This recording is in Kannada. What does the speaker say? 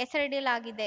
ಹೆಸರಿಡಲಾಗಿದೆ